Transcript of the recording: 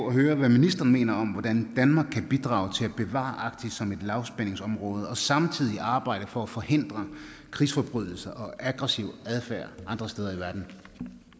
at høre hvad ministeren mener om hvordan danmark kan bidrage til at bevare arktis som et lavspændingsområde og samtidig arbejde for at forhindre krigsforbrydelser og aggressiv adfærd andre steder i verden